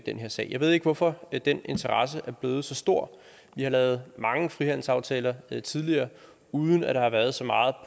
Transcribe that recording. den her sag jeg ved ikke hvorfor den interesse er blevet så stor vi har lavet mange frihandelsaftaler tidligere uden at der har været så meget